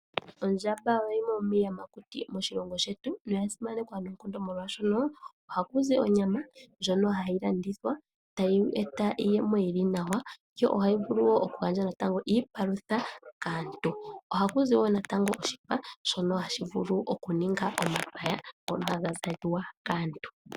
Ondjamba oyo yimwe yomiiyamakuti moshilongo shetu noya simanekwa molwaashono ohaku zi onyama, ndjono hayi landithwa e tayi eta iiyemo yili nawa, yo ohayi vulu woo natango oku gandja iipalutha kaantu. Ohaku zi woo natango oshipa shono hashi vulu oku ningwa omapaya ngono haga zalwa kaantu.